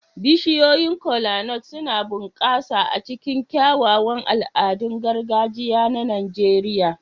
Bishiyoyin Kola-nut suna bunƙasa a cikin kyawawan al'adun gargajiya na Najeriya.